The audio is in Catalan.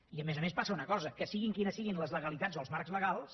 i a més a més passa una cosa que siguin quines siguin les legalitats o els marcs legals